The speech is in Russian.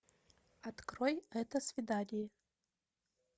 открой это свидание